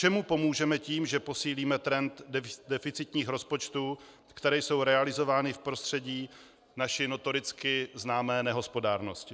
Čemu pomůžeme tím, že posílíme trend deficitních rozpočtů, které jsou realizovány v prostředí naší notoricky známé nehospodárnosti?